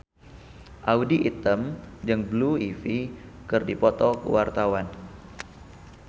Audy Item jeung Blue Ivy keur dipoto ku wartawan